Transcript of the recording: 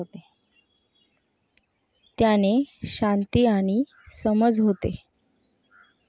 त्याने शांती आणि समज होते.